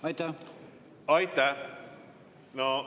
Aitäh!